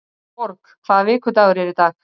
Borg, hvaða vikudagur er í dag?